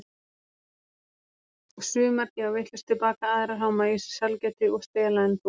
Sumar gefa vitlaust tilbaka, aðrar háma í sig sælgæti og stela en þú.